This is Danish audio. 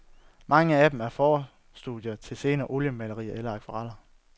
Mange af dem er forstudier til senere oliemalerier eller akvareller.